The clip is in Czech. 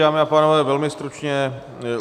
Dámy a pánové, velmi stručně.